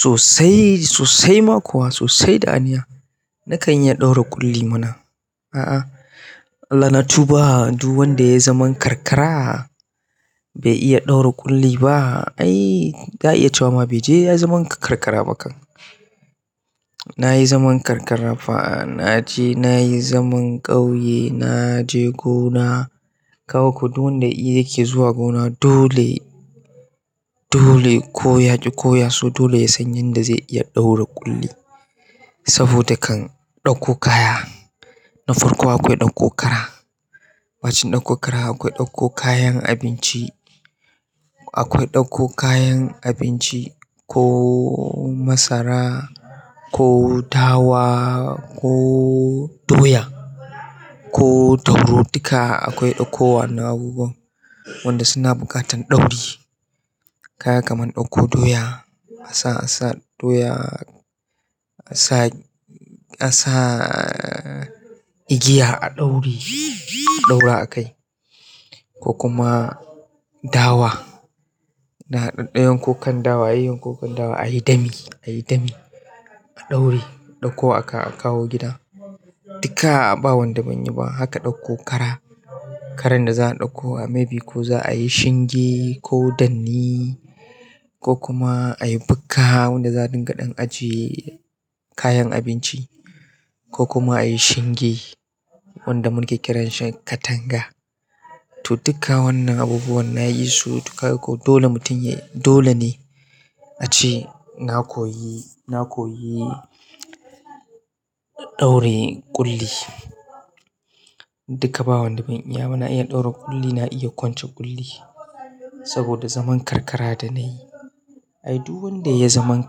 Sosai, sosai ma kuwa sosai da aniya. Nakan iya ɗaura ƙulli mana. A'a, Allah na tuba, duk wanda ya yi zaman karkara bai iya ɗaura ƙulli ba. Ai, za a iya cewa ma bai je ya yi zaman karkara ba kan. Na yi zaman karkara fa, na je na yi zaman ƙauye, na je gona. Kaga ko duk wanda ya iya yake zuwa gona dole, dole ko ya ƙi ko ya so dole ya san yanda zai iya ɗaura ƙulli. Saboda kan ɗauko kaya. Na farko akwai ɗauko ƙara. Bacin ɗauko ƙara akwai ɗauko kayan abinci, akwai ɗauko kayan abinci ko masara, ko dawa, ko doya ko dauro duka akwai ɗauko wainnan abubuwan wanda suna bukatan dauri. Kaga kaman ɗauko doya, a sa, a sa doya, a sa, a sa igiya a ɗaure, a ɗaura a kai. Ko kuma dawa, da ɗaddayan ko kan dawa, ayi kokan dawa, ayi dami, ayi dami a ɗaure, a ɗauko a kawo gida. Duka ba wanda ban yi ba. Haka ɗauko ƙara. Karan da za a ɗauko maybe ko za a yi shinge ko danni ko kuma a yi bukka wanda za dinga ɗan ajiye kayan abinci ko kuma a yi shinge wanda muke kiran shi katanga. To dukkan wannan abubuwan nayi su to kaga ko dole mutum ya yi dolene ace na koyi, na koyi ɗaura kulli. Duka ba wanda ban iya ba, na iya ɗaura ƙulli, na iya kwance ƙulli saboda zaman karkara da na yi. Ai duk wanda ya yi zaman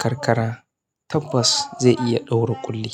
karkara tabbas zai iya ɗaura ƙulli.